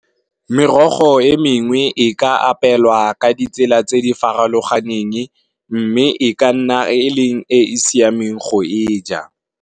Merogo e mengwe e ka apelwa ka ditsela tse di farologaneng, mme e ka nna e leng e e siameng go e ja.